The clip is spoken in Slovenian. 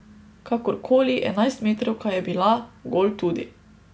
Kakorkoli, enajstmetrovka je bila, gol tudi.